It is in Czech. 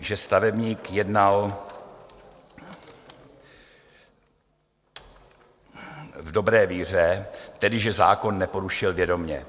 že stavebník jednal v dobré víře, tedy že zákon neporušil vědomě.